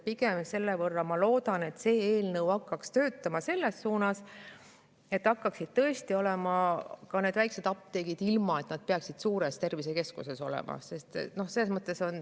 Pigem ma loodan, et see eelnõu hakkaks töötama selles suunas, et tõesti ka need väikesed apteegid, mis ei peaks suures tervisekeskuses olema.